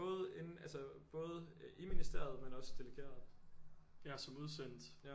Både inde altså både i ministeriet men også delegeret som udsendt